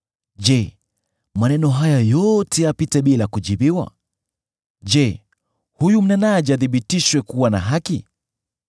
“Je, maneno haya yote yapite bila kujibiwa? Je, huyu mnenaji athibitishwe kuwa na haki?